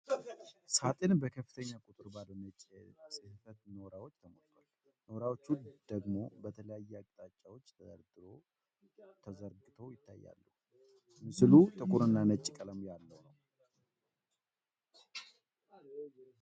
ሣጥን በከፍተኛ ቁጥር ባሉ ነጭ የጽሕፈት ኖራዎች ተሞልቷል፤ ኖራዎቹ ደግሞ በተለያዩ አቅጣጫዎች ተደራርበውና ተዘርግተው ይታያሉ። ምስሉ ጥቁርና ነጭ ቀለም ያለው ነው።